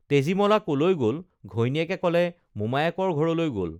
তেজীমলা কলৈ গল ঘৈণীয়েকে কলে মোমায়েকৰ ঘৰলৈ গল